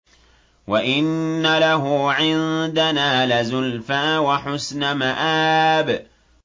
وَإِنَّ لَهُ عِندَنَا لَزُلْفَىٰ وَحُسْنَ مَآبٍ